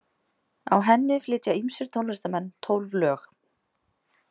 Á henni flytja ýmsir tónlistarmenn tólf lög.